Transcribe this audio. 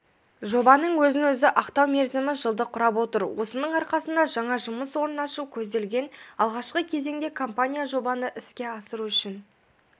жобаның өзін-өзі ақтау мерзімі жылды құрап отыр осының арқасында жаңа жұмыс орнын ашу көзделген алғашқы кезеңде компания жобаны іске асыру үшін